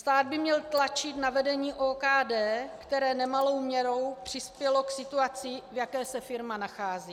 Stát by měl tlačit na vedení OKD, které nemalou měrou přispělo k situaci, v jaké se firma nachází.